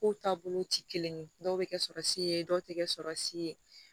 Kow taabolo ti kelen ye dɔw bɛ kɛ sɔriyɛ dɔw tɛ kɛ sɔrɔ si ye